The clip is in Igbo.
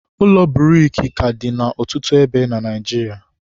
ụlọ buriki ka dị na ọtụtụ ebe na Naịjiria